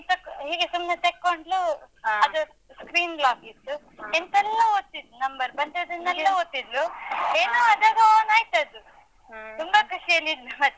ಹೀಗೆ ಸುಮ್ನೆ ತೆಕ್ಕೊಂಡ್ಲು ಅದು screen lock ಇತ್ತು. ಎಂತೆಲ್ಲ ಒತ್ತಿದ್ದು number , ಬಂದದ್ದನ್ನೆಲ್ಲ ಒತ್ತಿದ್ಲು ಏನೋ ಅದೇಗೋ on ಆಯ್ತದು. ತುಂಬ ಖುಷಿಯಲ್ಲಿದ್ಲು ಮತ್ತೆ.